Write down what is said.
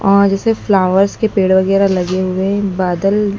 और जैसे फ्लावर्स के पेड़ वगैरह लगे हुए हैं एक बादल--